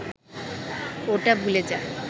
ওটা ভুলে যা